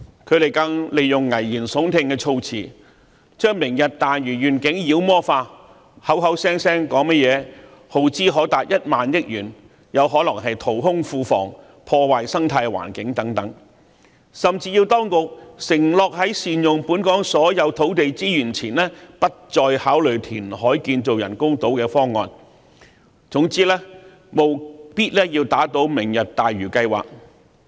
他們更利用危言聳聽的措辭，將"明日大嶼願景"妖魔化，口口聲聲說甚麼耗資可達1萬億元，有可能淘空庫房，破壞生態環境等，甚至要當局承諾在善用本港所有土地資源前，不再考慮填海建造人工島的方案，總之務必要打倒"明日大嶼"計劃。